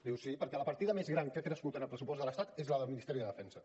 diu sí perquè la partida més gran que ha crescut en el pressupost de l’estat és la del ministeri de defensa